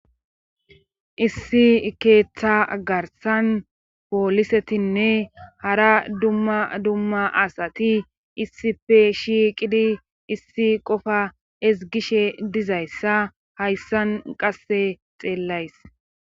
issi keeththa garsan poolisetinne hara dumma dumma asati issife shiiqidi issi qofa esgishe dizayssa hayssan qasse xeellays